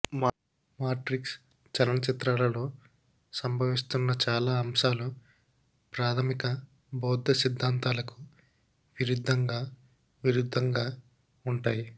matrix చలనచిత్రాలలో సంభవిస్తున్న చాలా అంశాలు ప్రాథమిక బౌద్ధ సిద్ధాంతాలకు విరుద్ధంగా విరుద్ధంగా ఉంటాయి